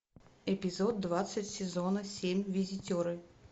эпизод двадцать сезона семь визитеры